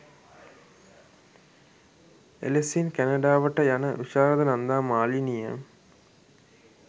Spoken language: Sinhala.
එලෙසින් කැනඩාවට යන විශාරද නන්දා මාලනිය